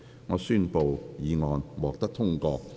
我宣布議案獲得通過。